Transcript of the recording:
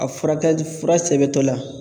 A furakɛli fura sɛbɛntɔla